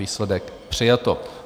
Výsledek: přijato.